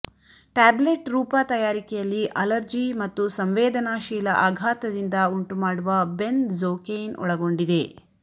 tablet ರೂಪ ತಯಾರಿಕೆಯಲ್ಲಿ allergy ಮತ್ತು ಸಂವೇದನಾಶೀಲ ಆಘಾತದಿಂದ ಉಂಟುಮಾಡುವ ಬೆನ್ ಝೋಕೇಯ್ನ್ ಒಳಗೊಂಡಿದೆ